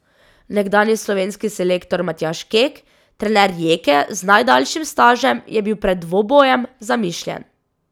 Nekdanji slovenski selektor Matjaž Kek, trener Rijeke z najdaljšim stažem, je bil pred dvobojem zamišljen ...